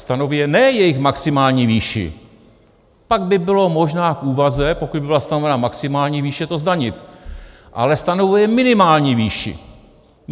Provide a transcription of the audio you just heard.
Stanovuje ne jejich maximální výši, pak by bylo možná k úvaze, pokud by byla stanovena maximální výše, to zdanit, ale stanovuje minimální výši.